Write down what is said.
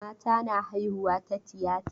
Mata na haihuwa ta tiyata.